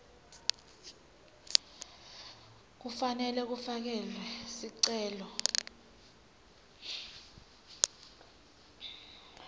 kufanele kufakelwe sicelo